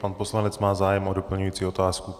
Pan poslanec má zájem o doplňující otázku.